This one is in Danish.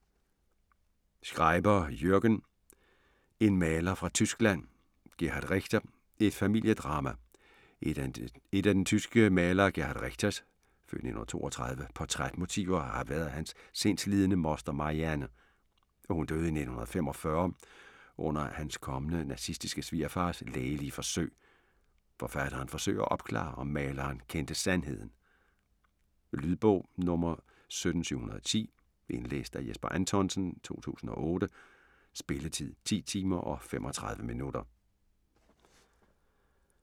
Schreiber, Jürgen: En maler fra Tyskland: Gerhard Richter: et familiedrama Et af den tyske maler Gerhard Richters (f. 1932) portrætmotiver har været hans sindslidende moster Marianne. Hun døde i 1945 under hans kommende nazistiske svigerfaders lægelige forsøg. Forfatteren forsøger at opklare om maleren kendte sandheden. Lydbog 17710 Indlæst af Jesper Anthonsen, 2008. Spilletid: 10 timer, 35 minutter.